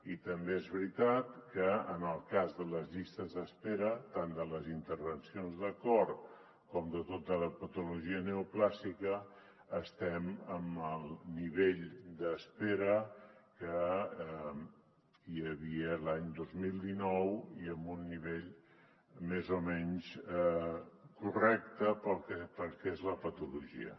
i també és veritat que en el cas de les llistes d’espera tant de les intervencions de cor com de tota la patologia neoplàstica estem en el nivell d’espera que hi havia l’any dos mil dinou un nivell més o menys correcte per al que és la patologia